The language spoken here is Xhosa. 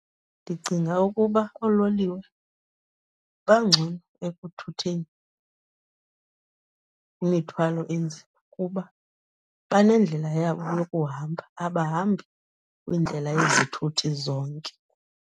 Ndicinga ukuba oololiwe bangcono ekuthutheni imithwalo enzima kuba banendlela yabo yokuhamba, abahambi kwindlela yezithuthi zonke.